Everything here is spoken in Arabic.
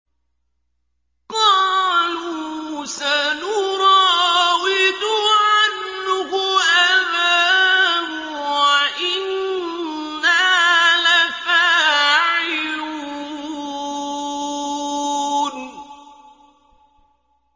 قَالُوا سَنُرَاوِدُ عَنْهُ أَبَاهُ وَإِنَّا لَفَاعِلُونَ